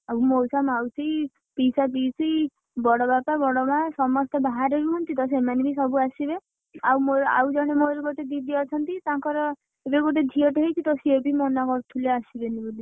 ଆଉ ମଉସା, ମାଉସୀ, ପିଇସା, ପିଇସି ବଡ ବାପା, ବଡ ମା ସମସ୍ତେ ବାହାରେ ରୁହନ୍ତି ତ ସେମାନେ ବି ସବୁ ଆସିବେ ଆଉ ମୋର ଆଉ ଜଣେ ମୋର ଗୋଟେ ଦିଦି ଅଛନ୍ତି ତାଙ୍କର ଏବେ ଗୋଟେ ଝିଅଟେ ହେଇଛି ତ ସିଏବି ମନା କରୁଥିଲେ ଆସିବେନି ବୋଲି।